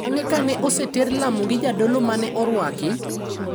Bng`e ka ne oseter lamo gi jadolo ma ne orwaki.